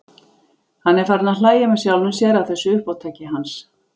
Hann er farinn að hlæja með sjálfum sér að þessu uppátæki hans.